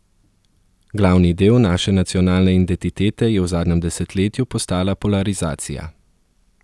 Glavni del naše nacionalne identitete je v zadnjem desetletju postala polarizacija.